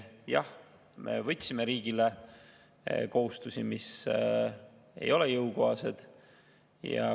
Jah, me võtsime riigile kohustusi, mis ei ole jõukohased.